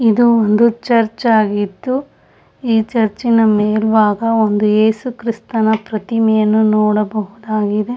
ಇದು ಒಂದು ಚರ್ಚ್ ಆಗಿದ್ದು ಈ ಚರ್ಚಿನ ಮೇಲಬಾಗ ಒಂದು ಯೇಸುಕ್ರಿಸ್ತನ ಪ್ರತಿಮೆಯನ್ನು ನೋಡಬಹುದಾಗಿದೆ.